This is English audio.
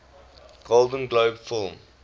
golden globe film